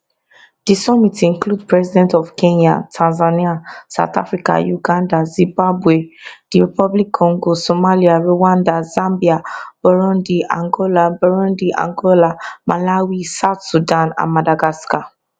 di summit include president of kenya tanzania south africa uganda zimbabwe drc somalia rwanda zambia burundi angola burundi angola malawi south sudan and madagascar